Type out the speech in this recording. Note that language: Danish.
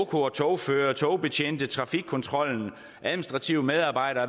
togførere og togbetjente trafikkontrollen administrative medarbejdere